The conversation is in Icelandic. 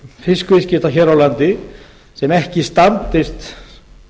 fiskviðskipta hér á landi sem ekki standist